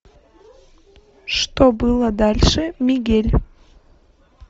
что было дальше мигель